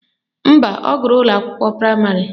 Mba, ọ gụrụ ụlọakwụkwọ praịmarị